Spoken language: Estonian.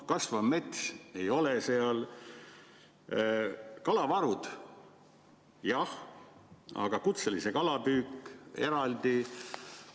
Kasvav mets ei ole seal, kalavarud, jah, aga kutseline kalapüük on eraldi.